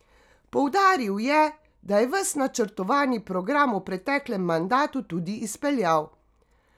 Poudaril je, da je ves načrtovani program v preteklem mandatu tudi izpeljal.